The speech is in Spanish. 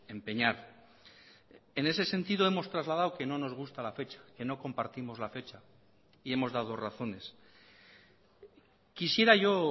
empeñar en ese sentido hemos trasladado que no nos gusta la fecha que no compartimos la fecha y hemos dado razones quisiera yo